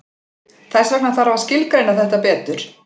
Þess vegna þarf að skilgreina þetta betur.